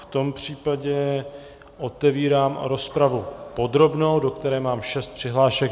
V tom případě otevírám rozpravu podrobnou, do které mám šest přihlášek.